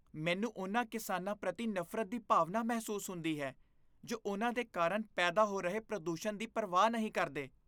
ਮੈਨੂੰ ਉਨ੍ਹਾਂ ਕਿਸਾਨਾਂ ਪ੍ਰਤੀ ਨਫ਼ਰਤ ਦੀ ਭਾਵਨਾ ਮਹਿਸੂਸ ਹੁੰਦੀ ਹੈ ਜੋ ਉਨ੍ਹਾਂ ਦੇ ਕਾਰਨ ਪੈਦਾ ਹੋ ਰਹੇ ਪ੍ਰਦੂਸ਼ਣ ਦੀ ਪਰਵਾਹ ਨਹੀਂ ਕਰਦੇ।